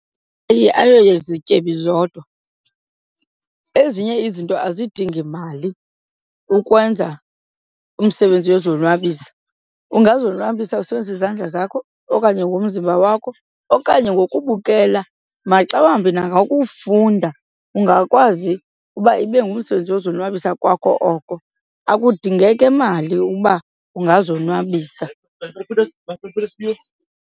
Ayo yezityebi zodwa, ezinye izinto azidingi mali ukwenza umsebenzi yozonwabisa. Ungazonwabisa usebenzisa izandla zakho okanye ngomzimba wakho okanye ngokubukela maxa wambi nangokufunda ungakwazi uba ibe ngumsebenzi wozonwabisa kwakho oko. Akudingeke mali uba ungazonwabisa .